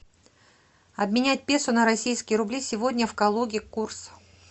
обменять песо на российские рубли сегодня в калуге курс